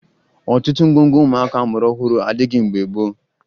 Ọtụtụ ngwongwo ụmụaka a mụrụ ọhụrụ adịghị mgbe gboo